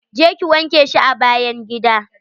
Je ki wanke shi a bayn gida.